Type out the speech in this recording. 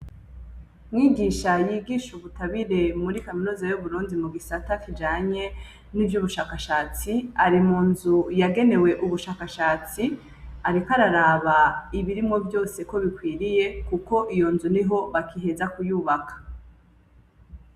Mwigisha yigisha ubutabire muri kaminuza y'uburundi mu gisata kijanye n'ivyubushakashatsi ari mu nzu yagenewe ubushakashatsi ariko araraba ibirimwo vyose ko bikwiriye kuko iyo nzu niho bakiheza kuyubaka.